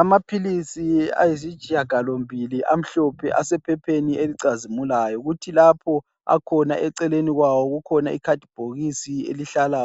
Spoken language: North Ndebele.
Amaphilisi ayisitshiya galombili amhlophe asephepheni elicazimulayo kuthi lapho akhona eceleni kwawo kukhona ikhadibhokisi elihlala